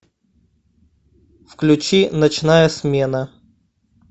включи ночная смена